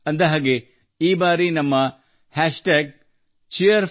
ಹೌದು ಈ ಬಾರಿ ನಮ್ಮ ಹ್ಯಾಶ್ಟ್ಯಾಗ್ Cheer4Bharat